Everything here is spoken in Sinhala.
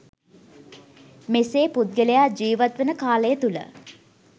මෙසේ පුද්ගලයා ජීවත්වන කාලය තුළ